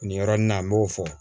Nin yɔrɔnin na an b'o fɔ